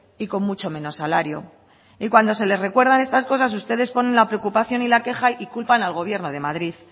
y con mucho menos salario y cuando se les recuerdan estas cosas ustedes ponen la preocupación y la queja y culpan al gobierno de madrid